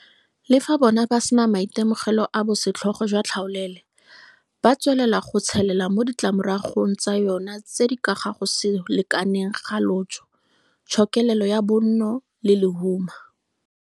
Le fa bona ba sena maitemogelo a bosetlhogo jwa tlhaolele, ba tswelela go tshelela mo ditlamoragong tsa yona tse di ka ga go se lekalekaneng ga lotso, tshokelelo ya bonno le lehuma.